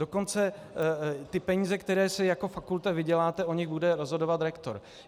Dokonce ty peníze, které si jako fakulta vyděláte, o nich bude rozhodovat rektor.